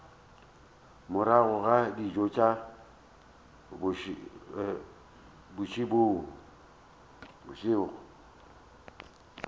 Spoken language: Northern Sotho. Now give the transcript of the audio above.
morago ga dijo tša mantšiboa